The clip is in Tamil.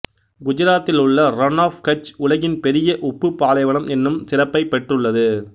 குஜராத்தில் உள்ள ரண் ஆஃப் கட்ச் உலகின் பெரிய உப்பு பாலைவனம் என்னும் சிறப்பை பெற்றுள்ளது